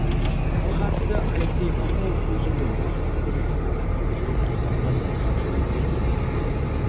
халық әртісі алексей баталов көз жұмды маусымның күні сағат әртістің жүрегі тоқтап қалды деп хабарлайды ресей